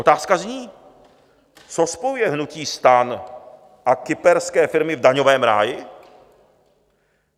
Otázka zní: co spojuje hnutí STAN a kyperské firmy v daňovém ráji?